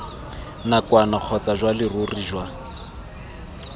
nakwana kgotsa jwa leruri jwa